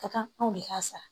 Ka kan anw de ka sa